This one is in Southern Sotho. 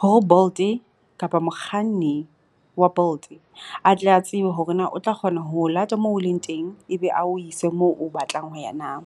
Hore Bolt-e kapa mokganni wa Bolt a tle a tsebe hore na o tla kgona ho o lata moo o leng teng, ebe ao ise moo o batlang ho ya na.